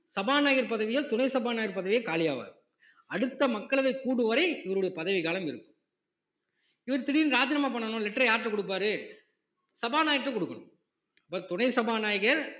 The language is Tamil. சபாநாயகர் பதவியோ துணை சபாநாயகர் பதவியோ காலியாவாது அடுத்த மக்களவை கூடும் வரை இவருடைய பதவிக்காலம் இருக்கும் இவர் திடீர்ன்னு ராஜினாமா பண்ணணும் letter அ யார்கிட்ட கொடுப்பார் சபாநாயகர்ட்ட கொடுக்கணும் அப்போ துணை சபாநாயகர்